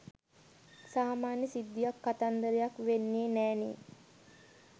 සාමාන්‍ය සිද්ධියක් කතන්දරයක් වෙන්නෙ නෑනෙ.